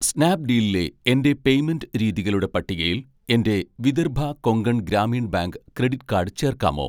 സ്നാപ്ഡീലിലെ എൻ്റെ പേയ്‌മെൻറ്റ് രീതികളുടെ പട്ടികയിൽ എൻ്റെ Vidarbha Konkan Gramin bank credit card ചേർക്കാമോ